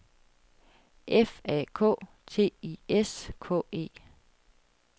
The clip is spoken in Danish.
F A K T I S K E